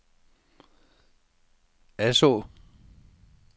Asaa